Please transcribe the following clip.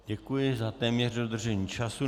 Děkuji za téměř dodržení času.